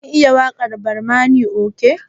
Kin iya waƙar barmani coge?